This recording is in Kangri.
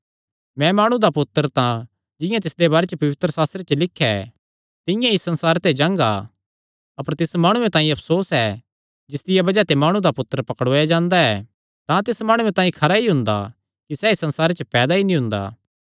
मैं माणु दा पुत्तर तां जिंआं तिसदे बारे च पवित्रशास्त्रे च लिख्या ऐ तिंआं ई इस संसारे ते जांगा अपर तिस माणु तांई अफसोस ऐ जिसदिया बज़ाह ते माणु दा पुत्तर पकड़ुआया जांदा ऐ जे तिस माणुये दा जन्म नीं होएया हुंदा तां तिस तांई खरा हुंदा